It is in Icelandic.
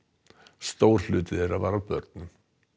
stór hluti þeirra var af börnum